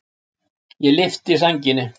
Ég lyfti sænginni.